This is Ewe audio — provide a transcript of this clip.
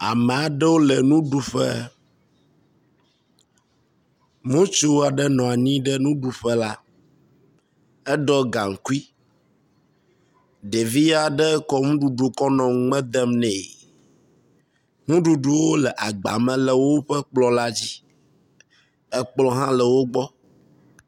Ame aɖewo le nuɖuƒe. Ŋutsu aɖe nɔ anyi ɖe nuɖuƒe la. Eɖɔ gaŋkui ɖevi aɖe kɔ nuɖuɖu kɔ nɔ nume dem nɛ. Nuɖuɖuwo le agba me le woƒe kplɔ la dzi. ekplɔ hã le wo gbɔ.